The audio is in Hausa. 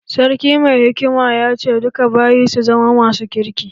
Sarki mai hikimar ya ce 'Duka bayin su zama masu kirki'!